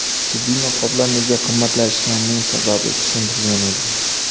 Tibbiy niqoblar nega qimmatlashganining sababi tushuntirilgan edi .